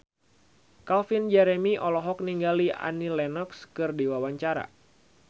Calvin Jeremy olohok ningali Annie Lenox keur diwawancara